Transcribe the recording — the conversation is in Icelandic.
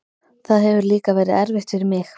Það hefur líka verið erfitt fyrir mig.